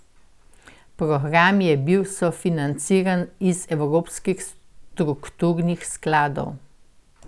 Program je bil sofinanciran iz evropskih strukturnih skladov.